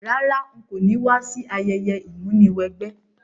Rárá, n ko ni wa si ayẹyẹ ìmúniwẹgbẹ́